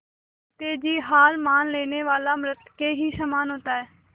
जीते जी हार मान लेने वाला मृत के ही समान होता है